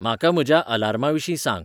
म्हाका म्हज्या आलार्मांविशीं सांग